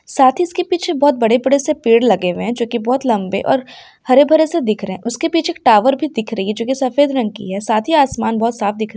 साथ ही इसके पीछे बहुत बड़े-बड़े से पेड़ लगे हुए हैं जो की बहुत लंबे और हरे-भरे से दिख रहे हैं उसके पीछे टावर भी दिख रही है जो कि सफेद रंग की है साथ ही आसमान बहुत साफ दिख--